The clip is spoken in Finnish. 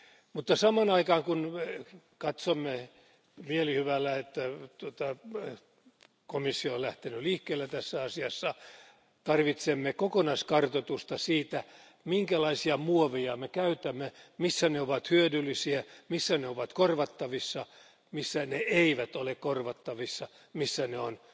Mutta samaan aikaan, kun katsomme mielihyvällä sitä, että komissio on lähtenyt liikkeelle tässä asiassa, tarvitsemme kokonaiskartoitusta siitä, minkälaisia muoveja me käytämme, missä ne ovat hyödyllisiä, missä ne ovat korvattavissa, missä ne eivät ole korvattavissa, missä ne ovat